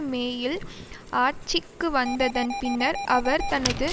மேயில் ஆட்சிக்கு வந்ததன் பின்னர் அவர் தனது